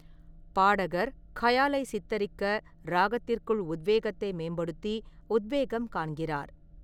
பாடகர் கயாலை சித்தரிக்க ராகத்திற்குள் உத்வேகத்தை மேம்படுத்தி உத்வேகம் காண்கிறார்.